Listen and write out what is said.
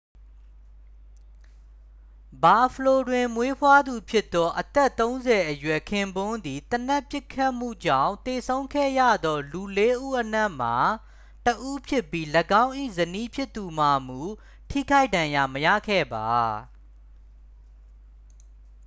ဘာ့ဖလို တွင်မွေးဖွားသူဖြစ်သော အသက်-၃၀-အရွယ် ခင်ပွန်းသည် သေနတ်ပစ်ခတ်မှုကြောင့်သေဆုံးခဲ့ရသောလူလေးဦးအနက်မှ တစ်ဦးဖြစ်ပြီး ၎င်း၏ဇနီးဖြစ်သူမှာမူ ထိခိုက်ဒဏ်ရာမရခဲ့ပါ။